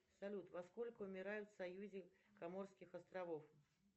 салют во сколько умирают в союзе коморских островов